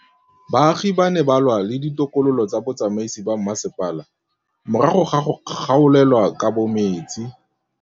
Baagi ba ne ba lwa le ditokolo tsa botsamaisi ba mmasepala morago ga go gaolelwa kabo metsi.